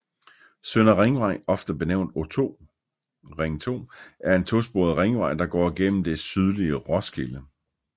Søndre Ringvej ofte benævnt O2 er en to sporet ringvej der går igennem det sydlige Roskilde